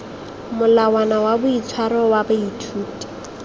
molawana wa boitshwaro wa baithuti